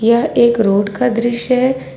यह एक रोड का दृश्य है।